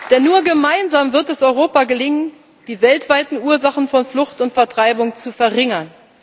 Denn nur gemeinsam wird es Europa gelingen, die weltweiten Ursachen von Flucht und Vertreibung zu verringern.